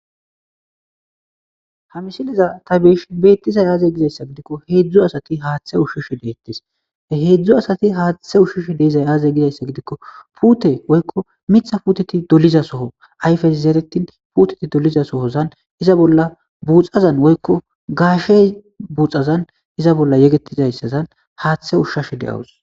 ha misileza ta beyishin beettizay aaze gizayssa gidikko heedzdzu asati haaththe ushshushe deettis heedzdzu asati haaththe ushshushe deezay aaze gizayssa gidikko puute woykko mitha puuteti doliza soho ayfes zeeretin puteti doliza sohozan iza bolla buuxazan woykko gaashe buxazan iza bolla yegetizayssazan haaththe ushshashe de7awus